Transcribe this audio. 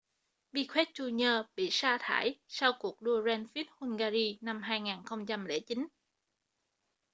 piquet jr bị sa thải sau cuộc đua grand prix hungary năm 2009